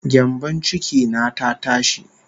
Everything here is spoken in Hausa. Gyambon ciki na ta tashi